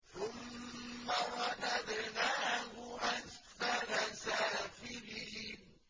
ثُمَّ رَدَدْنَاهُ أَسْفَلَ سَافِلِينَ